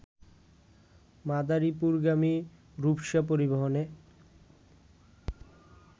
মাদারীপুরগামী রূপসা পরিবহনে